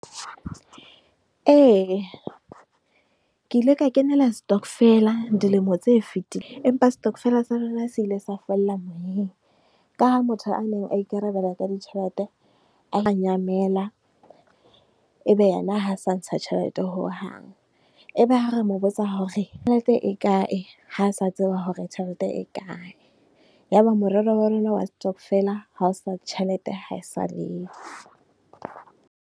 Ee, ke ile ka kenela stokvel-a dilemo tse fitileng, empa stokvel-a sa rona se ile sa fella moyeng. Ka ha motho a neng a ikarabella ka ditjhelete a la nyamela, e be yena ha a sa ntsha tjhelete hohang. E be ha re mo botsa hore, tjhelete e kae, ha a sa tseba hore tjhelete e kae? Ya ba moralo wa rona wa stokvel-a ha o sa, tjhelete ha e sa le yo.